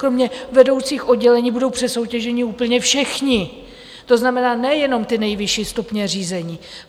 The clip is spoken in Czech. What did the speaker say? Kromě vedoucích oddělení budou přesoutěženi úplně všichni, to znamená, nejenom ty nejvyšší stupně řízení.